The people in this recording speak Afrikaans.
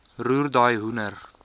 roer daai hoender